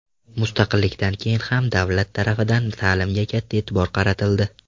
Mustaqillikdan keyin ham davlat tarafidan ta’limga katta e’tibor qaratildi.